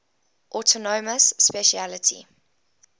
autonomous specialty